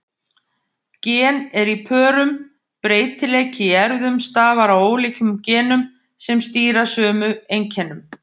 Gen eru í pörum: Breytileiki í erfðum stafar af ólíkum genum sem stýra sömu einkennum.